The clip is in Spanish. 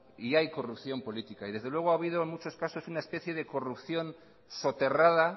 y hay corrupción política y desde luego ha habido muchos casos una especie de corrupción soterrada